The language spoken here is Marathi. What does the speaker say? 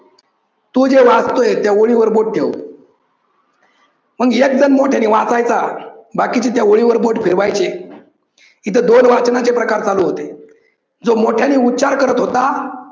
तो जे वाचतोय त्या ओळीवर बोट ठेव. मग एक जन मोठ्यानी वाचायचा बाकीचे त्या ओळीवर बोट फिरवायचे. तिथ दोन वाचनाचे प्रकार चालू होते. जो मोठ्यांनी उच्चार करत होता